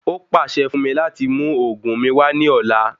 Ó pàṣẹ fún mi láti mú òògùn mí wá ní ọ̀la